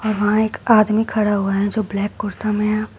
और वहाँ एक आदमी खड़ा हुआ है जो ब्लैक कुर्ता में है।